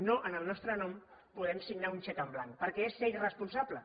no en el nostre nom podem firmar un xec en blanc perquè és ser irresponsables